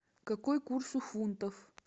какой курс у фунтов